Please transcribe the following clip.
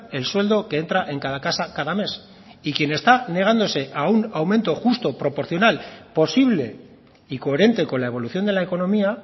el sueldo que entra en cada casa cada mes y quien está negándose a un aumento justo proporcional posible y coherente con la evolución de la economía